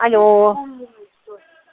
алло